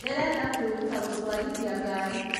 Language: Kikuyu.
ndĩrenda kwĩruta gũtwarithia ngari